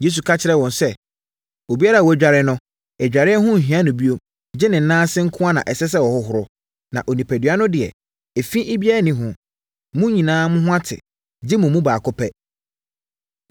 Yesu ka kyerɛɛ no sɛ, “Obiara a wadware no, adwareɛ ho nhia no bio gye ne nan ase nko na ɛsɛ sɛ ɔhohoro, ne onipadua no deɛ, efi biara nni ho. Mo nyinaa ho ate, gye mo mu baako pɛ.”